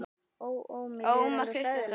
Ó, ó, mér líður alveg hræðilega.